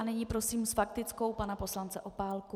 A nyní prosím s faktickou pana poslance Opálku.